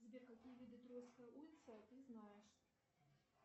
сбер какие виды троицкой улицы ты знаешь